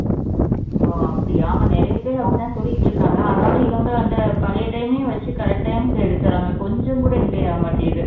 ஓ அப்படியா ஆமா நிறைய பேர் அப்படின்னு தான் சொல்லிட்டு இருக்காங்க ஆனாலும் இவங்க அந்த பழைய time ஏ வச்சு correct time க்கு எடுத்துடுறாங்க கொஞ்சம் கூட delay ஆக மாட்டேங்குது